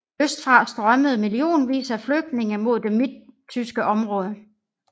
Østfra strømmede millionvis af flygtninge mod det midttyske område